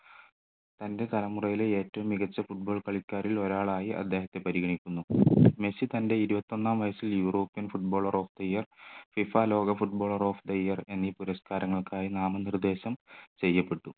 തൻ്റെ തലമുറയിലെ ഏറ്റവും മികച്ച football കളിക്കാരിൽ ഒരാളായി അദ്ദേഹത്തെ പരിഗണിക്കുന്നു മെസ്സി തൻ്റെ ഇരുപത്തി ഒന്നാം വയസ്സിൽ European footballer of the year FIFA ലോക footballer of the year എന്ന ഈ പുരസ്കാരങ്ങൾക്കായി നാമനിർദ്ദേശം ചെയ്യപ്പെട്ടു